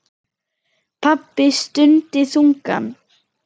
Pabbi stundi þungan.